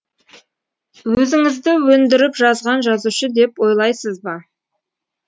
өзіңізді өндіріп жазған жазушы деп ойлайсыз ба